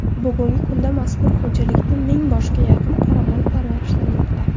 Bugungi kunda mazkur xo‘jalikda ming boshga yaqin qoramol parvarishlanmoqda.